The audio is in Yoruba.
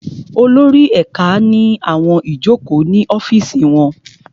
Olórí ẹ̀ka ní àwọn ìjókòó ní ọ́fìsì wọn